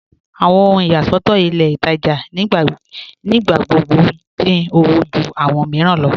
Awọn ohun iyàṣọ̀tọ̀ ilẹ̀ Ìtajà̀ nígbàgbọ́ dín ọwọ̀ jù awọn míìràn lọ.